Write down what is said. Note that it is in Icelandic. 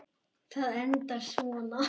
Það endar svona